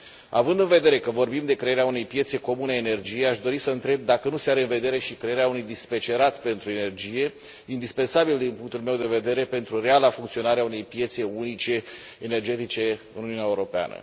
Având în vedere că vorbim de crearea unei piețe comune a energiei, aș dori să întreb dacă nu se are în vedere și crearea unui dispecerat pentru energie, indispensabil, din punctul meu de vedere, pentru reala funcționare a unei piețe unice energetice în Uniunea Europeană.